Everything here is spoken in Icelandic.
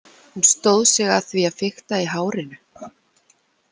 Hún stóð sig að því að fikta í hárinu.